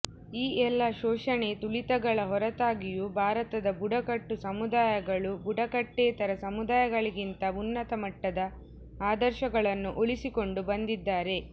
ಈ ಎಲ್ಲ ಶೋಷಣೆ ತುಳಿತಗಳ ಹೊರತಾಗಿಯೂ ಭಾರತದ ಬುಡಕಟ್ಟು ಸಮುದಾಯಗಳು ಬುಡಕಟ್ಟೇತರ ಸಮುದಾಯಗಳಿಗಿಂತ ಉನ್ನತ ಮಟ್ಟದ ಆದರ್ಶಗಳನ್ನು ಉಳಿಸಿಕೊಂಡು ಬಂದಿದ್ದಾರೆ